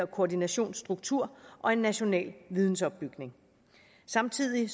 koordinationsstruktur og en national vidensopbygning samtidig